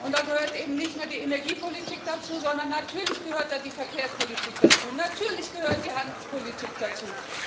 Da gehört eben nicht nur die Energiepolitik dazu, sondern natürlich gehört da die Verkehrspolitik dazu, natürlich gehört da die Handelspolitik dazu!